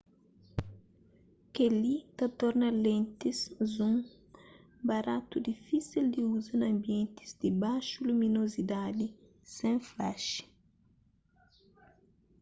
kel-li ta torna lentis zoom baratu difísel di uza na anbientis di baxu luminozidadi sen flashi